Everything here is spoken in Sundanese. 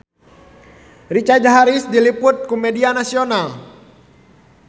Richard Harris diliput ku media nasional